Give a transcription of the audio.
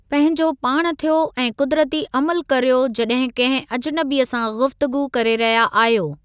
पंहिंजो पाण थियो ऐं क़ुदिरती अमलु करियो जॾहिं कंहिं अजनबीअ सां गुफ़्तगू करे रहिया आहियो।